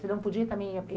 Você não podia também ir